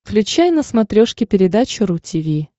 включай на смотрешке передачу ру ти ви